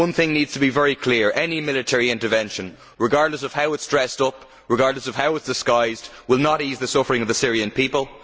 One thing needs to be very clear any military intervention, regardless of how it is dressed up, regardless of how it is disguised, will not ease the suffering of the Syrian people.